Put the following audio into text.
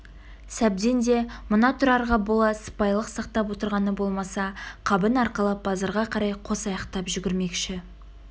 сәбден де мына тұрарға бола сыпайылық сақтап отырғаны болмаса қабын арқалап базарға қарай қос аяқтап жүгірмекші